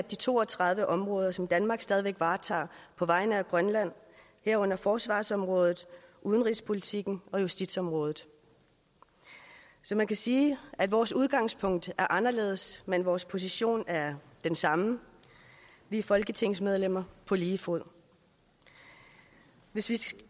de to og tredive områder som danmark stadig væk varetager på vegne af grønland herunder forsvarsområdet udenrigspolitikken og justitsområdet så man kan sige at vores udgangspunkt er anderledes men vores position er den samme vi er folketingsmedlemmer på lige fod hvis vi